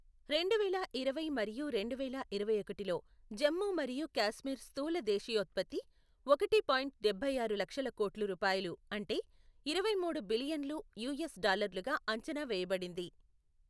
రెండువేల ఇరవై మరియు రెండువేల ఇరవైఒకటిలో జమ్మూ మరియు కాశ్మీర్ స్థూల దేశీయోత్పత్తి, ఒకటి పాయింట్ డభైఆరు లక్షల కోట్లు రూపాయలు అంటే ఇరవై మూడు బిలియన్లు యూఎస్ డాలర్లుగా అంచనా వేయబడింది.